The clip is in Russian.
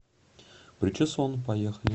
причесон поехали